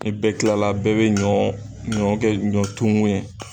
Ni bɛɛ kilala bɛɛ bɛ ɲɔn ɲɔn kɛ ɲɔn tumun ye.